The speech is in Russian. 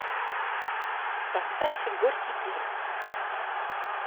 поставь горький пир